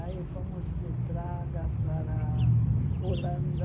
Aí fomos de Praga para Holanda.